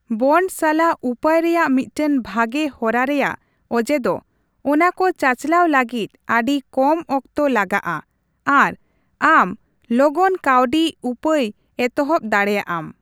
Bond ᱥᱟᱞᱟᱜ ᱩᱯᱟᱹᱭ ᱨᱮᱭᱟᱜ ᱢᱤᱫᱴᱟᱝ ᱵᱷᱟᱜᱮ ᱦᱚᱨᱟ ᱨᱮᱭᱟᱜ ᱚᱡᱮ ᱫᱚ ᱚᱱᱟ ᱠᱚ ᱪᱟᱪᱟᱞᱟᱣ ᱞᱟᱹᱜᱤᱫ ᱟᱹᱰᱤ ᱠᱚᱢ ᱚᱠᱛᱚ ᱞᱟᱜᱟᱜᱼᱟ ᱟᱨ ᱟᱢ ᱞᱚᱜᱚᱱ ᱠᱟᱹᱣᱰᱤ ᱩᱯᱟᱹᱭ ᱮᱛᱚᱦᱚᱵ ᱫᱟᱲᱮᱭᱟᱜᱼᱟᱢ ᱾